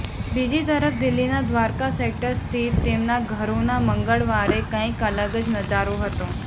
બીજી તરફ દિલ્હીના દ્વારકા સેક્ટર સ્થિત તેમના ઘરનો મંગળવારે કંઇક અલગ જ નજારો હતો